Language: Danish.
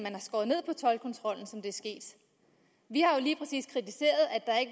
sket vi